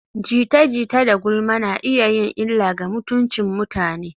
Jita-jita da gulma na iya yin illa ga mutuncin mutane.